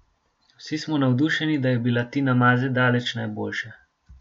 Vsi smo navdušeni, da je bila Tina Maze daleč najboljša.